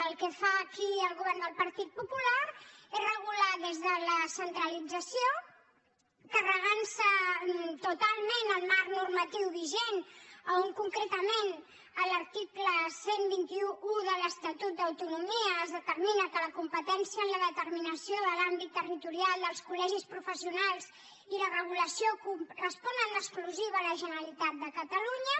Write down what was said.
el que fa aquí el govern del partit popular és regular des de la centralització carregant se totalment el marc normatiu vigent on concretament en l’article dotze deu u de l’estatut d’autonomia es determina que la competència en la determinació de l’àmbit territorial dels colen exclusiva a la generalitat de catalunya